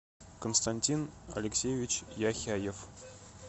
константин алексеевич яхяев